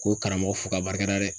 Ko karamɔgɔ fo ka barika da dɛ.